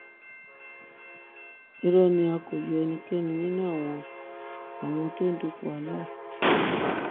irọ ni o a kò yọ ẹnikẹni nínú àwọn tó ń dupò aláàfin